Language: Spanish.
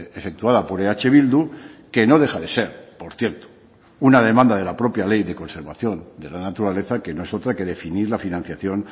efectuada por eh bildu que no deja de ser por cierto una demanda de la propia ley de conservación de la naturaleza que no es otra que definir la financiación